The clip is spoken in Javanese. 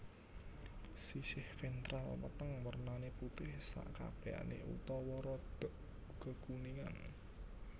Siséh ventral weteng wernané putih sekabèhané utawa rodok kekuningan